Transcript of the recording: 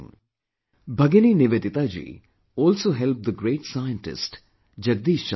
Bhagini Nivedita ji also helped the great scientist Jagdish Chandra Basu